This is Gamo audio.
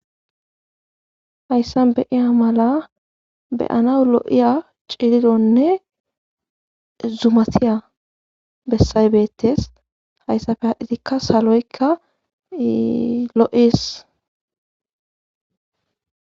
Hayssa beyiya mala beyana lo7iya cilidonne zumatiya bessay beettes hayssafe hadhitikka saloykka lo'es.